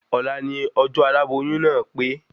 Òla ni ọjọ́ aláboyún náà pé